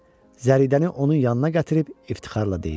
Zəridəni onun yanına gətirib iftixarla deyir: